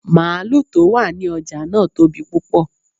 Máàlù tó wà ní ọjà náà tóbi púpọ.